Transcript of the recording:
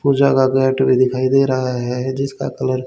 पूजा का गेट भी दिखाई दे रहा है जिसका कलर --